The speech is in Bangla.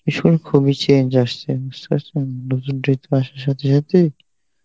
খুবই change আসছে বুঝতে পারছেন সাথে সাথে